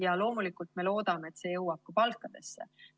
Me loomulikult loodame, et see jõuab ka palkadesse.